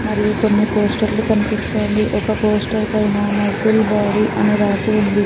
మరియు కొన్ని పోస్టర్ లు కనిపిస్తోంది. ఒక పోస్టర్ పైన మజిల్ బాడీ అని రాసి ఉంది.